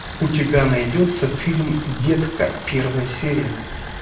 у тебя найдется фильм детка первая серия